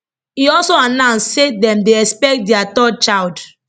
e also announce say dem dey expect dia third child